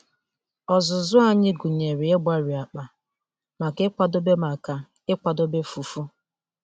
Ọzụzụ anyị gụnyere ịgbari akpa maka ịkwadebe maka ịkwadebe fufu.